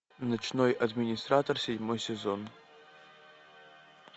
ночной администратор седьмой сезон